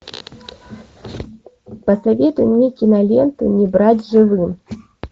посоветуй мне киноленту не брать живым